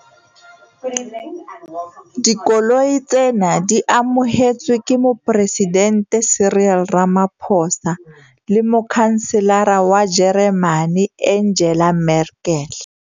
Dikoloi tsena di amohetswe ke Moporesidente Cyril Ramaphosa le Motjhanselara wa Jeremane Angela Merkel.